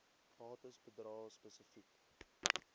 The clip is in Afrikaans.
bates bedrae spesifiek